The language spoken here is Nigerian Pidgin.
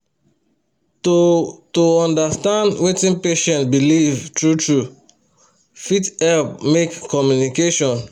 to to understand wetin patient believe true-true fit help make communication